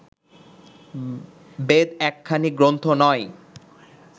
বেদ একখানি গ্রন্থ নয়